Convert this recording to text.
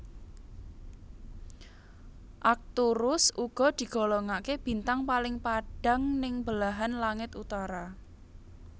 Arcturus uga digolongaké bintang paling padhang ning belahan langit utara